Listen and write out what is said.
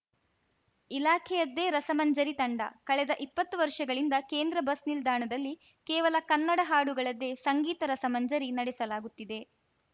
ಇಲಾಖೆಯದ್ದೇ ರಸಮಂಜರಿ ತಂಡ ಕಳೆದ ಇಪ್ಪತ್ತು ವರ್ಷಗಳಿಂದ ಕೇಂದ್ರ ಬಸ್‌ನಿಲ್ದಾಣದಲ್ಲಿ ಕೇವಲ ಕನ್ನಡ ಹಾಡುಗಳದ್ದೇ ಸಂಗೀತ ರಸಮಂಜರಿ ನಡೆಲಾಗುತ್ತಿದೆ